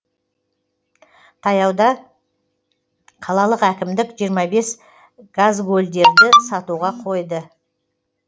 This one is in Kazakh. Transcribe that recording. таяуда қалалық әкімдік жиырма бес газгольдерді сатуға қойды